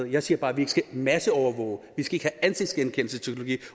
jeg siger bare at vi ikke skal masseovervåge at vi ikke skal have ansigtsgenkendelsesteknologi